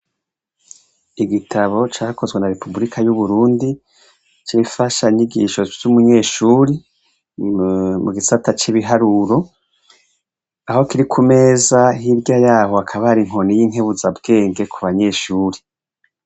Igitabo cakozwe na Repuburika y'Uburundi, c'imfanyigisho c'umunyeshuri, mu gisata c'ibiharuro aho kiri ku meza, hirya yaho hakaba hari inkoni y'inkabuzabwenge ku banyeshure.